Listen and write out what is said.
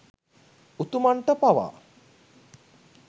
උතුමන්ට පවා